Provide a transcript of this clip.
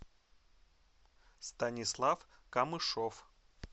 станислав камышов